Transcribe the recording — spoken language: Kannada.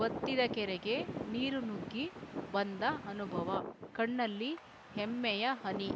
ಬತ್ತಿದ ಕೆರೆಗೆ ನೀರು ನುಗ್ಗಿ ಬಂದ ಅನುಭವ ಕಣ್ಣಲ್ಲಿ ಹೆಮ್ಮೆಯ ಹನಿ